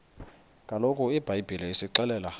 kaloku ibhayibhile isixelela